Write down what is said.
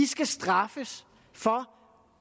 skal straffes for